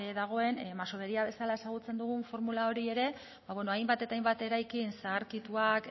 dagoen masovería bezala ezagutzen dugun formula hori ere hainbat eta hainbat eraikin zaharkituak